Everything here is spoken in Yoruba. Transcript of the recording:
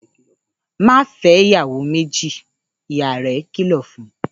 ‘Má fé̩ ìyàwó méjì!’, ìyá rè̩ kìlò̩ fun